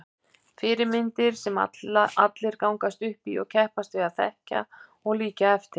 Fyrirmyndir sem allir gangast upp í og keppast við að þekkja og líkja eftir.